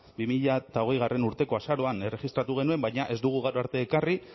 bi mila hogeigarrena urteko azaroan erregistratu genuen baina ez dugu gaur arte ekarri